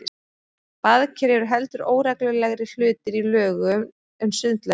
Baðker eru heldur óreglulegri hlutir í lögun en sundlaugar.